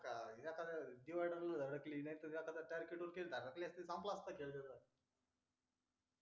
तेव्हा ते वाईट झालं त्याच्यामुळे त्याच्यात अडकली नाही तर संपला असता खेळ त्याचा